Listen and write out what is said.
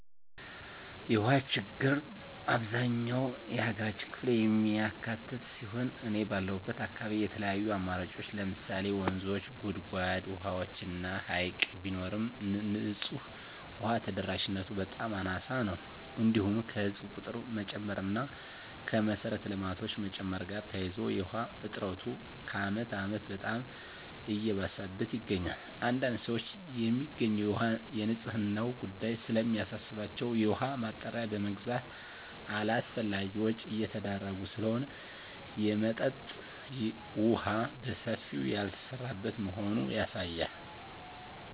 የውሃ ችግር አብዛኛው የሀገራችን ክፍል የሚካትት ሲሆን እኔ ባለሁበት አካባቢ የተለያዩ አማራጮች ለምሳሌ ወንዞች; ጉድጓድ ውሃዎች እና ሀይቅ ቢኖርም ንፁህ ውሃ ተደራሽነቱ በጣም አናሳ ነው። እንዲሁም ከህዝብ ቁጥር መጨመር እና ከመሰረተ ልማቶች መጨመር ጋር ተያይዞ የውሃ እጥረቱ ከአመት አመት በጣም እየባሰበት ይገኛል። አንዳንድ ሰዎች የሚገኘው ውሃ የንፅህናው ጉዳይ ስለሚያሳስባቸው የውሃ ማጣሪያ በመግዛት አላስፈላጊ ወጭ እየተዳረጉ ስለሆነ የመጠጠጥ የውሃ በሰፊው ያልተሰራበት መሆኑ ያሳያል።